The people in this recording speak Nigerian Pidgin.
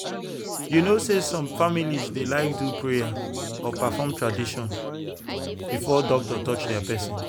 you know say some families dey like do prayer or perform tradition before doctor touch their person.